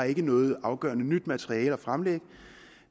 ikke har noget afgørende nyt materiale at fremlægge